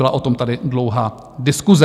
Byla o tom tady dlouhá diskuse.